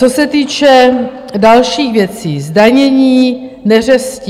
Co se týče dalších věcí, zdanění neřestí.